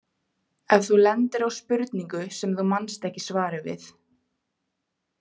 Ef þú lendir á spurningu sem þú manst ekki svarið við.